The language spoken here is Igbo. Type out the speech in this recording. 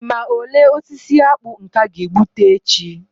Ị ma ole osisi akpu nke a ga-egbute echi